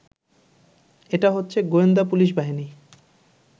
এটা হচ্ছে গোয়েন্দা পুলিশ বাহিনী